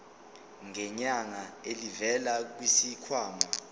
ngenyanga elivela kwisikhwama